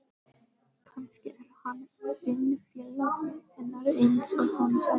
Kannski er hann vinnufélagi hennar eins og hún sagði.